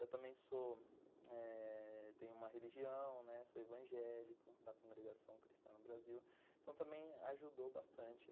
Eu também sou tenho uma religião, sou evangélico da Congregação Cristã no Brasil, então também ajudou bastante.